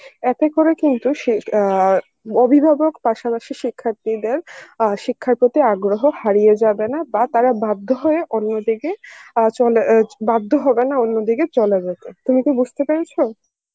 এতে করে কিন্তু সেই আ অভিভাবক পাশাপাশি শিক্ষার্থীদের আ শিক্ষার প্রতি আগ্রহ হারিয়ে যাবে না বা তারা বাধ্য হয়ে অন্যদিকে আ চলে এ বাধ্য হবে না অন্যদিকে চলে যেতে তুমি কি বুজতে পেরেছ?